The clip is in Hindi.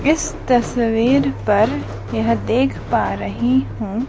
इस तस्वीर पर यह देख पा रही हूं--